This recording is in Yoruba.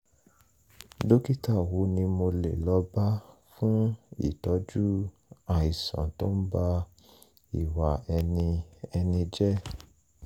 dókítà wo ni mo lè lọ bá fún ìtọ́jú àìsàn tó ń ba ìwà ẹni ẹni jẹ́?